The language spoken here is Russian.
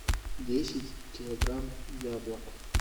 десять килограмм яблок